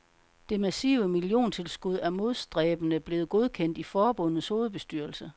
Det massive milliontilskud er modstræbende blevet godkendt i forbundets hovedbestyrelse.